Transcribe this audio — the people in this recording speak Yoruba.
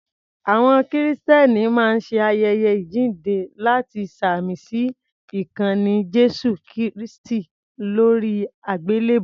Àwọn Kìrìsìtẹ́ni máa ń ṣe ayẹyẹ Àjíǹde láti ṣàmì sí ikanni Jésù kristi lóri àgbélèbú.